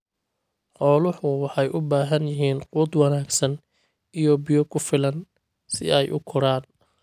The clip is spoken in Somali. Xooluhu waxay u baahan yihiin quud wanaagsan iyo biyo ku filan si ay u koraan.